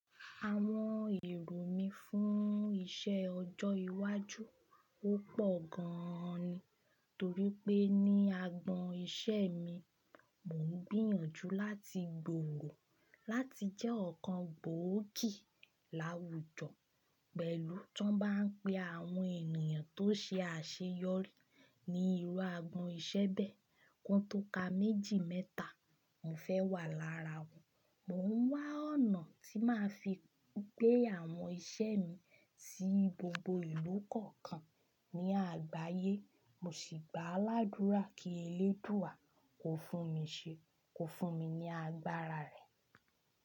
Àwọn èrò mí fún iṣẹ́ ọjọ́ iwájú, ó pọ̀ gan an ni. Torí pé ní agbọn iṣẹ́ mi, mò ń gbìyànjú láti gbòòrò láti jẹ́ ọ̀kan gbòókì láwùjọ pẹ̀lú tọ́n bá ń pe àwọn ènìyàn tó ṣe àṣeyọrí ní irú agbọn iṣẹ́ bẹ́ẹ̀. Kon tó ka méjì mẹ́ta, mò ń fẹ́ wà lára wọn. Mò ń wá ọ̀nà tí màá fi gbé àwọn iṣẹ́ mi sí gbogbo ìlú kọ̀ọ̀kan ní àgbáyé, mo sì gbà ládúrà kí eléèdúà kò fún mi ṣe, kò fún mi ní agbára rẹ̀.